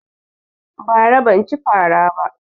Bara ban cin fara ba